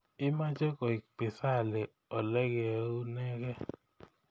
Imeche koek pisali olegeunenge